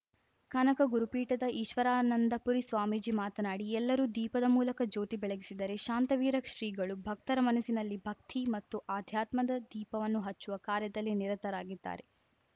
ಕನಕ ಗುರುಪೀಠದ ಈಶ್ವರಾನಂದಪುರಿ ಸ್ವಾಮೀಜಿ ಮಾತನಾಡಿ ಎಲ್ಲರೂ ದೀಪದ ಮೂಲಕ ಜ್ಯೋತಿ ಬೆಳಗಿಸಿದರೆ ಶಾಂತವೀರ ಶ್ರೀಗಳು ಭಕ್ತರ ಮನಸ್ಸಿನಲ್ಲಿ ಭಕ್ತಿ ಮತ್ತು ಆಧ್ಯಾತ್ಮದ ದೀಪವನ್ನು ಹಚ್ಚುವ ಕಾರ್ಯದಲ್ಲಿ ನಿರತರಾಗಿದ್ದಾರೆ